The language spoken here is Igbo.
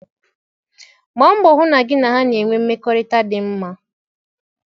Gbaa mbọ hụ na gị na ha na-enwe mmekọrịta dị mma.